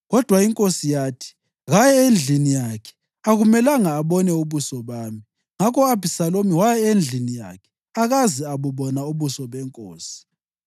Kodwa inkosi yathi, “Kaye endlini yakhe, akumelanga abone ubuso bami.” Ngakho u-Abhisalomu waya endlini yakhe akaze abubona ubuso benkosi.